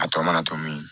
A tɔ mana to min